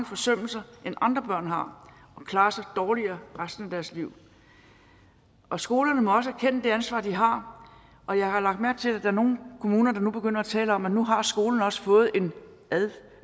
forsømmelser end andre børn har og klarer sig dårligere resten af deres liv og skolerne må også erkende det ansvar de har og jeg har lagt mærke til at er nogle kommuner der nu begynder at tale om at nu har skolerne også fået en